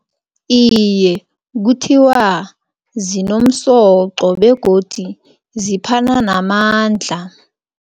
Iye, kuthiwa zinomsoqo begodi ziphana namandla.